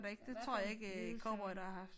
I hvert fald hvide øh